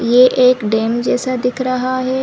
ये एक डैम जैसा दिख रहा है।